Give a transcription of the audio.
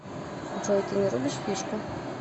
джой ты не рубишь фишку